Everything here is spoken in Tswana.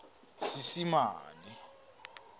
seesimane